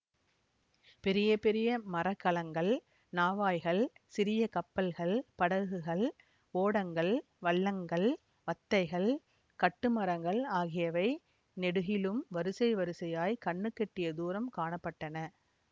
பெரிய பெரிய மரக்கலங்கள் நாவாய்கள் சிறிய கப்பல்கள் படகுகள் ஓடங்கள் வள்ளங்கள் வத்தைகள் கட்டுமரங்கள் ஆகியவை நெடுகிலும் வரிசை வரிசையாக கண்ணுக்கெட்டிய தூரம் காண பட்டன